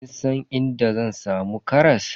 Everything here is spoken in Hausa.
Kin san inda zan samu karas?